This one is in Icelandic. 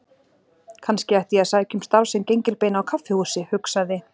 Kannski ætti ég að sækja um starf sem gengilbeina á kaffihúsi, hugsaði